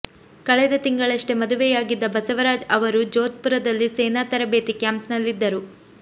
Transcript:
ಕಳೆದ ತಿಂಗಳಷ್ಟೇ ಮದುವೆಯಾಗಿದ್ದ ಬಸವರಾಜ್ ಅವರು ಜೋಧ್ ಪುರದಲ್ಲಿ ಸೇನಾ ತರಬೇತಿ ಕ್ಯಾಂಪಿನಲ್ಲಿದ್ದರು